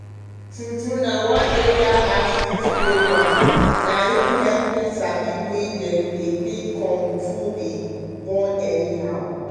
true true one area outreach program na im hep me sabi way dem dey take control to dey born anyhow.